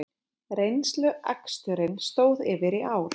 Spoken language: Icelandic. Reynsluaksturinn stóð yfir í ár